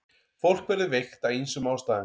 Fólk verður veikt af ýmsum ástæðum.